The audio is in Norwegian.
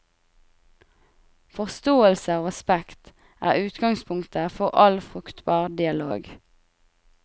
Forståelse og respekt er utgangspunktet for all fruktbar dialog.